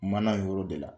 Mana yɔrɔ de la